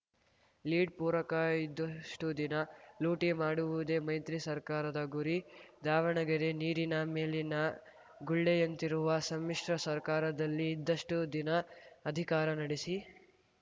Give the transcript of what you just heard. lead ಪೂರಕ ಇದ್ದಷ್ಟುದಿನ ಲೂಟಿ ಮಾಡುವುದೇ ಮೈತ್ರಿ ಸರ್ಕಾರದ ಗುರಿ ದಾವಣಗೆರೆ ನೀರಿನ ಮೇಲಿನ ಗುಳ್ಳೆಯಂತಿರುವ ಸಮ್ಮಿಶ್ರ ಸರ್ಕಾರದಲ್ಲಿ ಇದ್ದಷ್ಟುದಿನ ಅಧಿಕಾರ ನಡೆಸಿ